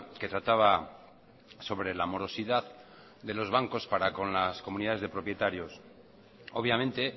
que trataba sobre la morosidad de los bancos para con las comunidades de propietarios obviamente